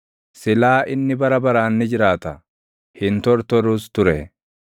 silaa inni bara baraan ni jiraata; hin tortorus ture.